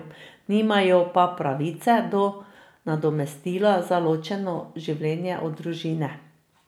Nimajo pa pravice do nadomestila za ločeno življenje od družine.